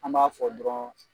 An b'a fɔ dɔrɔn